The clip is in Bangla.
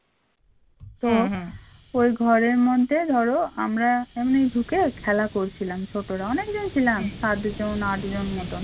ওই ঘরের মধ্যে ধরো আমরা এমনি ঢুকে খেলা করছিলাম ছোটরা অনেকজন ছিলাম সাত জন আট জন মতন